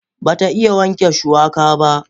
Ba ta iya wanke shuwaka ba.